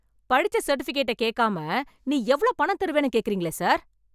படிச்ச சர்டிஃபிகேட்ட கேக்காம நீ எவ்ளோ பணம் தருவேன்னு கேக்குறீங்களே சார்.